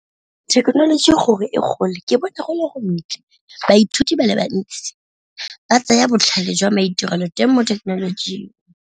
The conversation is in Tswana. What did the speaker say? Thekenoloji gore e gole ke bona go le go ntle, baithuti ba le bantsi ba tsaya botlhale jwa maitirelo teng mo thekenolojing.